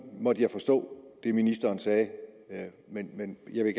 måtte jeg forstå det ministeren sagde men jeg